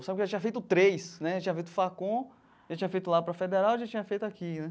Só que eu tinha feito três né, tinha feito FACON, já tinha feito lá para Federal e já tinha feito aqui né.